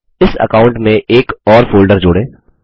इस अकाउंट में एक और फोल्डर जोड़ें